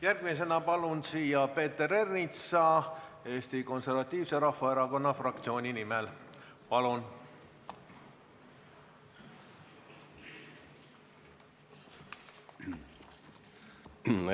Järgmisena palun siia Peeter Ernitsa Eesti Konservatiivse Rahvaerakonna fraktsiooni nimel kõnelema.